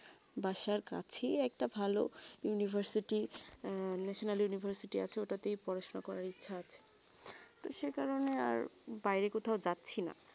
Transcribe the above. বাসর কাছে ই একটা ভালো university national university আছে ঐইটাতে পড়াশোনা করা ইচ্ছা আছে তো সেই কারণে আর বাইরে কোথাও যাচ্ছি না